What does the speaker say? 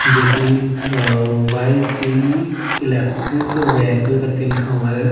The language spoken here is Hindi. जो की अह वाय_सी ईलेक्ट्रिक वेहीकल करके लिखा हुआ है।